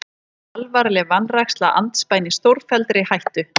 Alvarleg vanræksla andspænis stórfelldri hættu